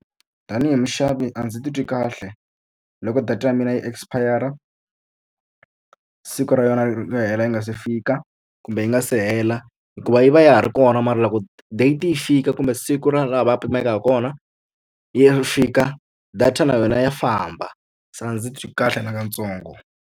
Tanihi muxavi a ndzi titwi kahle loko data ya mina yi expire-ra siku ra yona ro hela ri nga se fika, kumbe yi nga se hela. Hikuva yi va ya ha ri kona mara loko date yi fika kumbe siku ra laha va pimeka hi kona ri fika, data na yona ya famba. Se a ndzi titwi kahle nakatsongo.